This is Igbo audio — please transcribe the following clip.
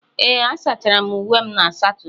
Ee, asachara m uwe m na Satọde.